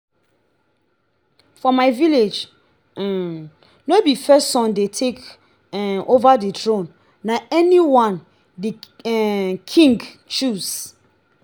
for my village um no be first son dey take um over the throne na anyone the um king choose.